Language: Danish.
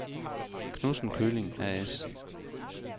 Knudsen Køling A/S